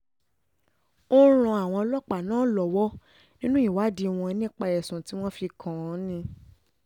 ó ń ran àwọn ọlọ́pàá náà lọ́wọ́ nínú ìwádìí wọn nípa ẹ̀sùn tí wọ́n fi kàn án ni